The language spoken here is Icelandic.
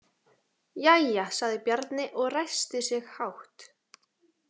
Jæja, sagði Bjarni og ræskti sig hátt.